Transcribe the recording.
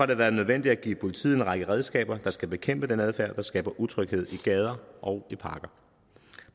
det været nødvendigt at give politiet en række redskaber der skal bekæmpe den adfærd der skaber utryghed i gader og i parker